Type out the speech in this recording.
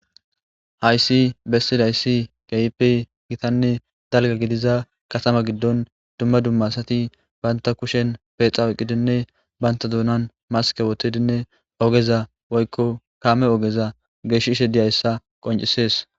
Hayssi bessidayssi gayppe gitanne dalga gidiza katama giddon dumma dumma sati banta kushen peexaweqqidinne banta duunan maske wotedinne ogeza woykko kaame ogeza gesh ishe diyayssa qoncisees.